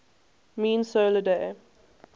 mean solar day